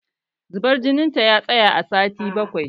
Zubar jinin ta ya tsaya a sati bakwai